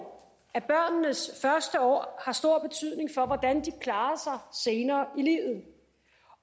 at børnenes første år har stor betydning for hvordan de klarer sig senere i livet